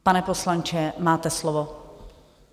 Pane poslanče, máte slovo.